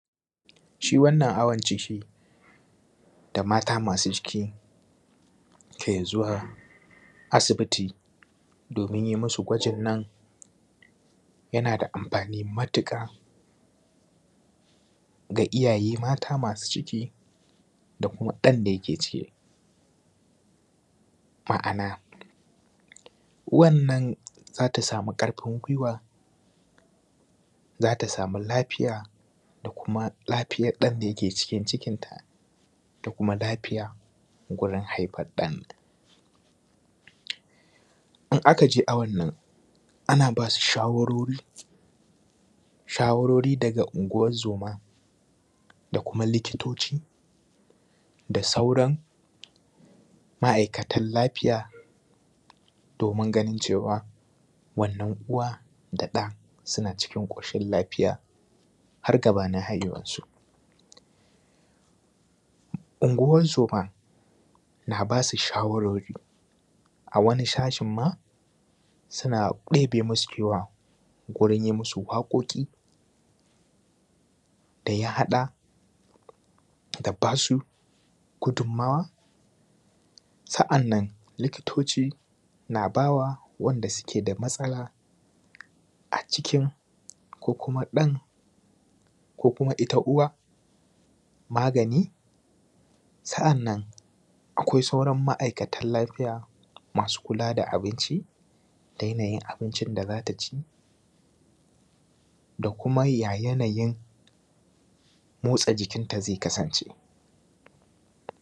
Shi wannan awon ciki da mata masu ciki ke zuwa asibiti domin yin musu gwajin nan yana da amfani matuƙa ga iyaye mata masu ciki da kuma ɗan da yake cikin. Ma'ana uwanan za ta samu karfin gwiwa, za ta samu lafiya, da kuma lafiyan ɗan da yke cikin ta, da kuma lafiya gurin haifan ɗan. In aka je awon nan ana basu shawarori daga unguwan zoma da kuma likitoci da sauran ma’aikatan lafiya, domin ganin cewa wannan uwa da ɗan suna cikin ƙoshin lafiya har gabanin haihuwan su. Unguwan zoma na ba su shawarori a wani shashin ma suna ɗebe musu kewa gurin yi musu waƙoƙi da ya hada da ba su gudunmuwa. Sa’annan likitoci na bawa wanda suke da matsala a cikin, ko kuma ɗan, ko kuma ita uwa magani, sa’annan akwai sauran ma’aikatan lafiya masu kula da abinci da yanayin abincin da za ta ci, da kuma ya yanayin motsa jikinta zai kasance.